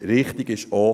Richtig ist auch: